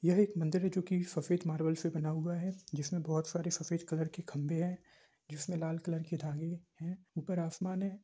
यह मंदिर है जो कि सफ़ेद मार्बल से बना हुआ है जिसमे बोहत सारे सफ़ेद कलर के खम्भे है। जिसमे लाल कलर के धागे है ऊपर आसमान है।